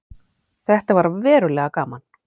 Þetta var verulega gaman.